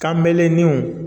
Kan bɛlennenw